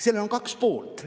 Sellel on kaks poolt.